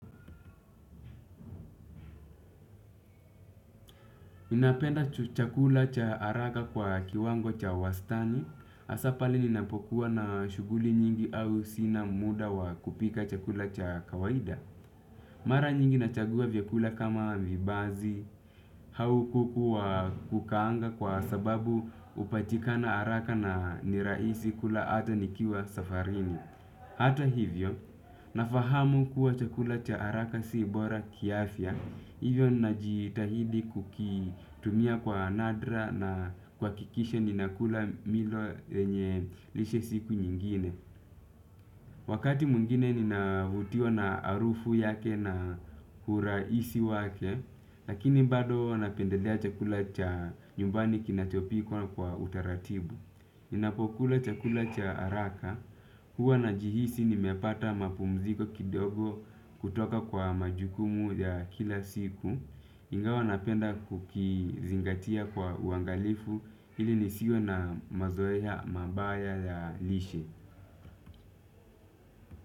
Napenda chakula cha haraka kwa kiwango cha wastani, hasa pale ninapokuwa na shughuli nyingi au sina muda wa kupika chakula cha kawaida. Mara nyingi nachagua vyakula kama vibazi, au kuku wa kukaanga kwa sababu hupatikana haraka na ni rahisi kula ata nikiwa safarini. Hata hivyo, nafahamu kuwa chakula cha haraka si bora kiafya, hivyo ninajitahidi kukitumia kwa nadra na kuhakikisha ninakula milo yenye lishe siku nyingine. Wakati mwingine ninavutiwa na harufu yake na urahisi wake, lakini bado napendelea chakula cha nyumbani kinachopikwa kwa utaratibu. Ninapokula chakula cha haraka, huwa najihisi nimepata mapumziko kidogo kutoka kwa majukumu ya kila siku. Ingawa napenda kukizingatia kwa uangalifu, ili nisiwe na mazoea mabaya ya lishe.